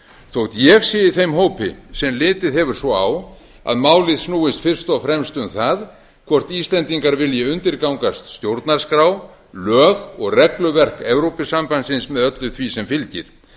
þótt ég sé í þeim hópi sem litið hefur svo á að málið snúist fyrst og fremst um það hvort íslendingar vilji undirgangast stjórnarskrá lög og regluverk evrópusambandsins með öllu því sem fylgir